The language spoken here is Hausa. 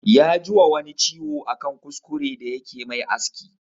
Ya ji wa wani ciwo a kan kuskure da yake mai aski